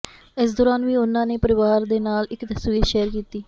ਇਸ ਦੌਰਾਨ ਵੀ ਉਨ੍ਹਾਂ ਨੇ ਪਰਿਵਾਰ ਦੇ ਨਾਲ ਇੱਕ ਤਸਵੀਰ ਸ਼ੇਅਰ ਕੀਤੀ